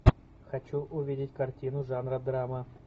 хочу увидеть картину жанра драма